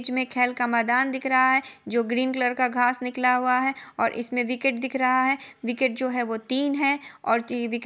बीच मे खेल का मैदान दिख रहा है जो ग्रीन कलर का घास निकला हुआ है और इसमें विकेट दिख रहा है विकेट जो है वो तीन है और विके --